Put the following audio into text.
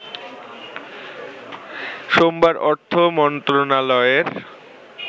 সোমবার অর্থ মন্ত্রণালয়ের